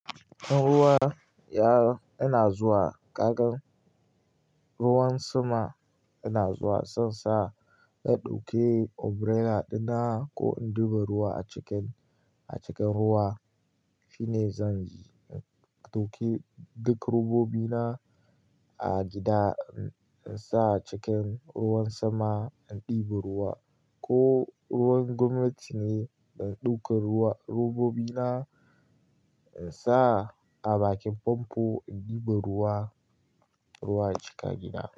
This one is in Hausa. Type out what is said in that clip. In ruwa ya-- ina zuwa, kagan ruwan sama ina zuwa, zan sa in ɗauke umbrella dina ko in ɗiba ruwa a cikin, a cikin ruwa. Shine zan yi, in ɗauke duk robobi na a gida in sa a cikin ruwan sama in ɗiba ruwa ko ruwan gwamnati ne, in ɗauka ruwa-- robobi na in sa a bakin famfo in ɗiba ruwa, ruwa a cika gida.